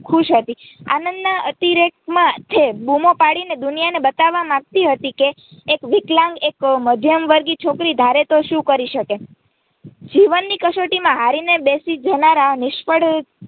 ખુશ હતી આનંદના અતિરેકેમાં તે બૂમો પાડીને દુનિયાને બતાવવા માંગતી હતી કે એક વિકલાંગ એક મધ્યવર્ગીય છોકરી ધારે તો શું કરી શકે જીવની કસોટીમાં હારીને બેસી જનારા નિષ્ફળ